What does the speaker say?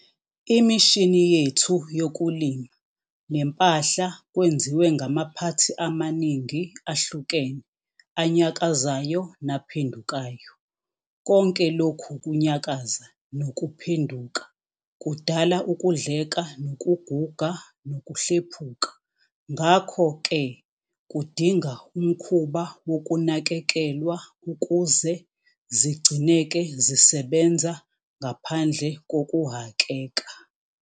Imishini yethu yokulima nempahla kwenziwe ngamaphathi amaningi ahlukene anyakazayo naphendukayo. Konke lokhu kunyakaza nokuphenduka kudala ukudleka nokuguga nokuhlephuka ngakho ke kudinga umkhuba wokunakekelwa ukuze zigcineke zisebenza ngaphandle kokuhhakeka.